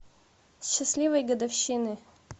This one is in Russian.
счастливой годовщины